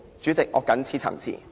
主席，我謹此陳辭。